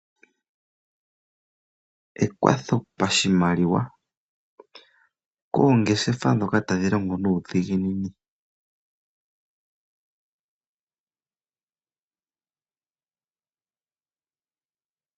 Ekwatho pashimaliwa, koongeshefa dhoka tadhi longo nuudhiginini.